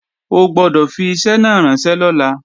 O gbọ́dọ̀ fi iṣẹ́ náà ránṣẹ́ lọ́la!